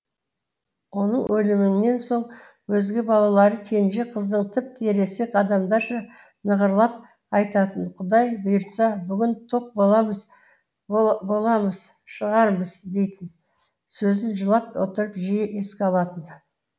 оның өлімінен соң өзге балалары кенже қыздың тіпті ересек адамдарша нығырлап айтатын құдай бұйыртса бүгін тоқ боламыз боламыз шығармыз дейтін сөзін жылап отырып жиі еске алатын